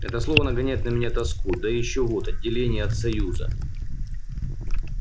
это слово нагоняет на меня тоску да и ещё вот отделение от союза